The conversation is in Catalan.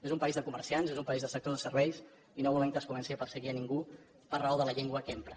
és un país de comerciants és un país de sector de serveis i no volem que es comenci a perseguir a ningú per raó de la llengua que empra